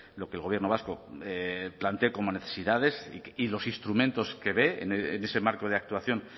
lo que el gobierno vasco plantee como necesidades y los instrumentos que ve en ese marco de actuación